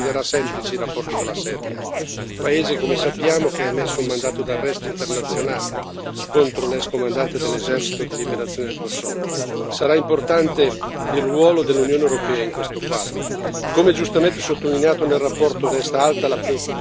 Tuttavia, dobbiamo essere consapevoli che la vittoria di Haradinaj non renderà semplici i rapporti con la Serbia, paese che, come sappiamo, ha emesso un mandato d'arresto internazionale contro l'ex comandante dell'esercito di liberazione del Kosovo. Sarà importante il ruolo dell'Unione europea in questo quadro.